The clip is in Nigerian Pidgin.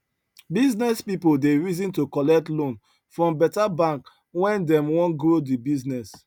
business people dey reason to collect loan from better bank when dem wan grow the business